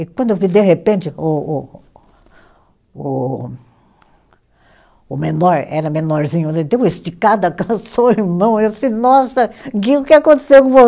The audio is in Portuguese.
E quando eu vi, de repente, o o. o o menor, era menorzinho, ele deu uma esticada, alcançou o irmão, eu disse, nossa, Gui, o que aconteceu com